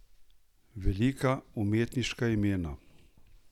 Velika umetniška imena?